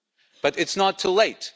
But it's not too late.